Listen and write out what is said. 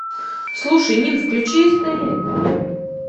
слушай нин включи стс